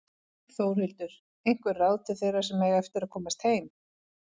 Þórhildur: Einhver ráð til þeirra sem eiga eftir að komast heim?